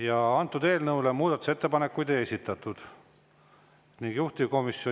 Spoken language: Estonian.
Ja 2027, 2028 samuti aktsiisid tõusevad, alkoholiaktsiis tõuseb 5% võrra mõlemal aastal.